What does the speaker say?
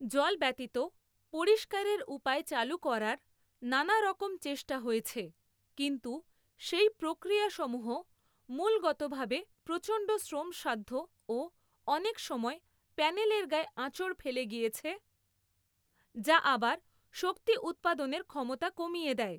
জল ব্যতীত পরিষ্কারের উপায় চালু করার নানারকম চেষ্টা হয়েছে, কিন্তু সেই প্রক্রিয়াসমূহ মূলগতভাবে প্রচণ্ড শ্রমসাধ্য ও অনেক সময় প্যানেলের গায়ে আঁচড় ফেলে গিয়েছে যা আবার শক্তি উৎপাদনের ক্ষমতা কমিয়ে দেয়।